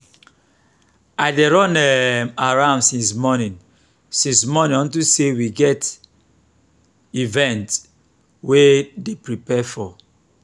i dey run um around since morning since morning unto say we get event we dey prepare for